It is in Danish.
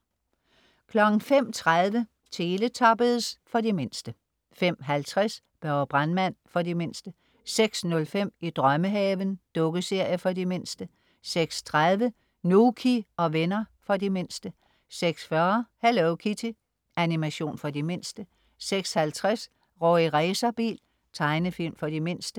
05.30 Teletubbies. For de mindste 05.50 Børge brandmand. For de mindste 06.05 I drømmehaven. Dukkeserie for de mindste 06.30 Nouky og venner. For de mindste 06.40 Hello Kitty. Animation for de mindste 06.50 Rorri Racerbil. Tegnefilm for de mindste